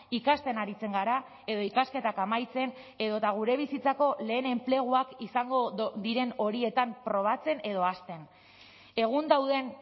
ikasten aritzen gara edo ikasketak amaitzen edota gure bizitzako lehen enpleguak izango diren horietan probatzen edo hasten egun dauden